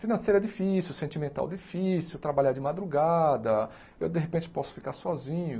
financeira difícil, sentimental difícil, trabalhar de madrugada, eu de repente posso ficar sozinho.